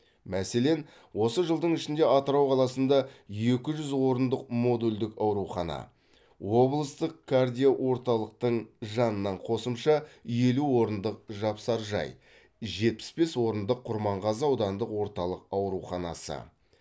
мәселен осы жылдың ішінде атырау қаласында екі жүз орындық модульдік аурухана облыстық кардиоорталықтың жанынан қосымша елу орындық жапсаржай жетпіс бес орындық құрманғазы аудандық орталық ауруханасы